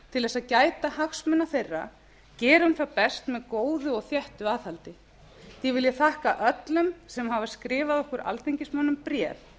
til þess að gæta hagsmuna þeirra gerum það best með góðu og þéttu aðhaldi því vil ég þakka öllum sem hafa skrifað okkur alþingismönnum bréf